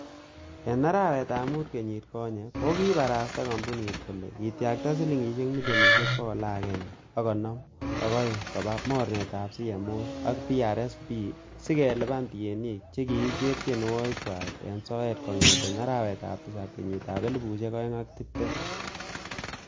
En arawetab mut kenyit konye, kokibarasta kompunit kole kityakta silingisiek milionisiek bogol agenge ak konoom ak o'eng koba mornetab CMOs ak PRSPs si kelipanen tienik che kikicher tienwogikchwak en soet kongeten arawetab tisab kenyitab elfusiek oeng ak tibtem.